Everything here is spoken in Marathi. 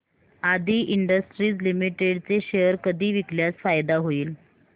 आदी इंडस्ट्रीज लिमिटेड चे शेअर कधी विकल्यास फायदा होईल